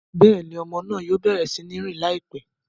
Béèni, ọmọ náà yóò bẹrẹ si ń rìn laipẹ